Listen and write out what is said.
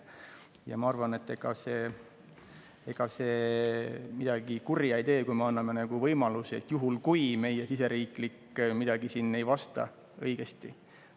Ja ma arvan, et ega see midagi kurja ei tee, kui me anname võimaluse juhul, kui meil siseriiklikult midagi.